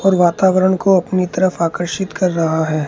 और वातावरण को अपनी तरफ आकर्षित कर रहा है।